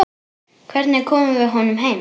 Hvernig komum við honum heim?